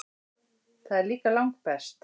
Það er líka langbest.